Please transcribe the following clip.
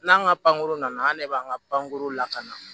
N'an ka pankurun nana an de b'an ka pankurun lakana